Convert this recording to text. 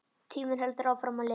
Tíminn heldur áfram að líða.